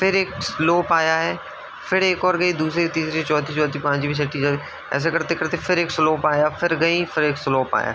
फिर एक स्लोप आया है। फिर एक और गयी दूसरी तीसरी चौथी चौथी पाच्मी छठी ऐसा करते-करते फिर एक स्लोप आया। फिर गयी फिर एक स्लोप आया।